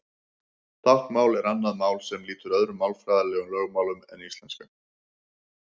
Táknmál er annað mál sem lýtur öðrum málfræðilegum lögmálum en íslenskan.